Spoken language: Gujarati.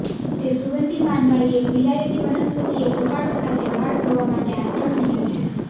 તે સુંગધી પાનવાળી એક વિલાયતી વનસ્પતિ એક ઉકાળો સાથે વાળ ધોવા માટે આગ્રહણીય છે